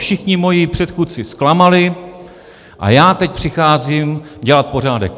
Všichni moji předchůdci zklamali a já teď přicházím dělat pořádek.